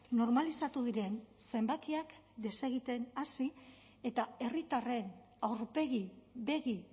normalizatu diren zenbakiak desegiten hasi eta herritarren aurpegi begi